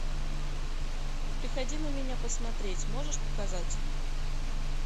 приходи на меня посмотреть можешь показать